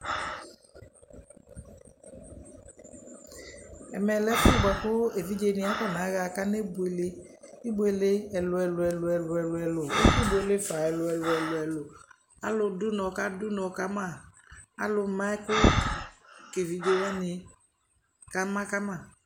Ɛmɛ lɛ ɛfʋ bʋa kʋ evidzenɩ akɔnaɣa kanebuele ibuele ɛlʋ-ɛlʋ ɛlʋ-ɛlʋ Ɛkʋbuele fa ɛlʋ-ɛlʋ ɛlʋ-ɛlʋ Alʋdʋnɔ kadʋ ʋnɔ ka ma, alʋma ɛkʋ ka evidze wanɩ kama ka ma